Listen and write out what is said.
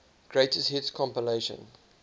greatest hits compilation